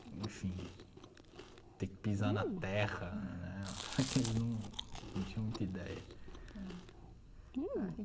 Enfim, ter que pisar na terra, né, é que eles num não tinham muita ideia.